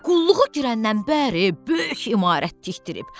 Qulluğu girəndən bəri böyük imarət tikdirib.